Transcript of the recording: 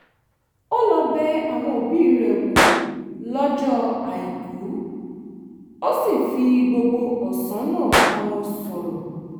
ó lọ bẹ àwọn òbí rẹ̀ wò lọ́jọ́ àìkú ó sì fi gbogbo ọ̀sán náà bá wọn sọ̀rọ̀